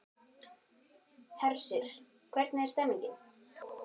Hersir, hvernig er stemningin?